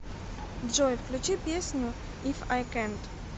джой включи песню иф ай кэнт